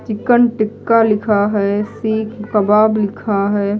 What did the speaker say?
Chicken tikka लिखा है सीक कबाब लिखा है।